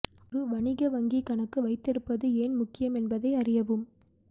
ஒரு வணிக வங்கி கணக்கு வைத்திருப்பது ஏன் முக்கியம் என்பதை அறியவும்